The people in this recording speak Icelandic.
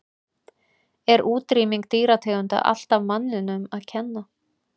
Er útrýming dýrategunda alltaf manninum að kenna?